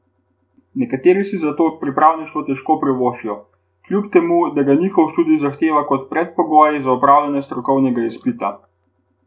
Nekateri si zato pripravništvo težko privoščijo, kljub temu, da ga njihov študij zahteva kot predpogoj za opravljanje strokovnega izpita.